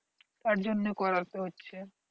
তার জন্য করতে হচ্ছে